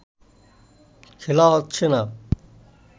খেলা হচ্ছে না